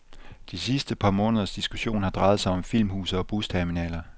De sidste par måneders diskussion har drejet sig om filmhuse og busterminaler.